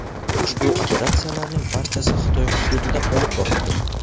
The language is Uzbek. Ushbu operatsiyalarning barchasi Xitoy hududida olib borildi.